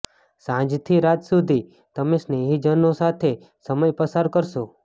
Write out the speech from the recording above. સાંજથી રાત સુધી તમે સ્નેહીજનો સાથે સમય પસાર કરશો